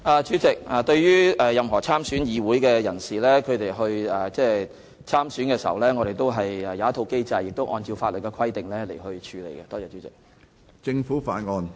主席，對於任何有意參選立法會選舉的人士，我們設有一套既定機制，會按照法例的規定來處理他們的申請。